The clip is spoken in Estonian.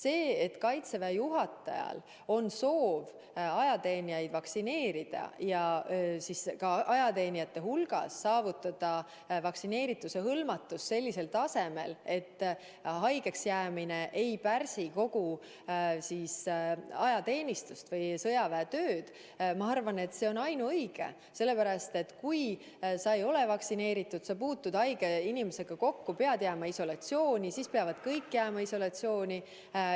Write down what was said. See, et Kaitseväe juhatajal on soov ajateenijad vaktsineerida ja saavutada nende hulgas vaktsineeritus sellisel tasemel, et haigeks jäämine ei pärsiks kõigi ajateenijate või kogu sõjaväe tööd – ma arvan, et see on ainuõige, sellepärast et kui sa ei ole vaktsineeritud ja puutud haige inimesega kokku, siis pead sa jääma isolatsiooni, kõik peavad jääma isolatsiooni.